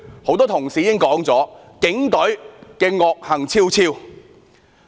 很多同事已說了，警隊惡行昭昭。